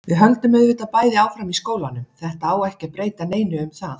Við höldum auðvitað bæði áfram í skólanum, þetta á ekki að breyta neinu um það.